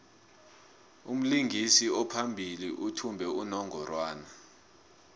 umlingisi ophambili uthmba unongorwana